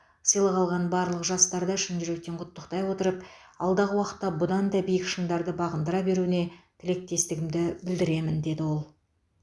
сыйлық алған барлық жастарды шын жүректен құттықтай отырып алдағы уақытта бұдан да биік шыңдарды бағындыра беруіне тілектестігімді білдіремін деді ол